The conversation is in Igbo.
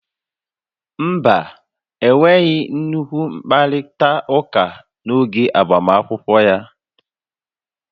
Mba, enweghị nnukwu mkparita uka n'oge agbamunkwụ ya